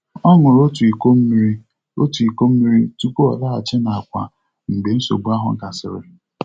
Ọ ṅụrụ otu iko mmiri otu iko mmiri tupu ọ laghachi n'àkwà mgbe nsogbu ahụ gasịrị.